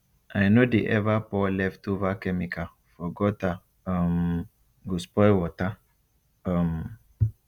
i no dey ever pour leftover chemical for guttere um go spoil water um